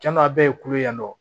Cɛnna a bɛɛ ye kulo yan nɔ